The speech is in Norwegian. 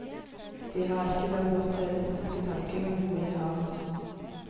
De har ikke den materialistiske tankegangen vi har.